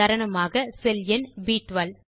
உதாரணமாக செல் எண் ப்12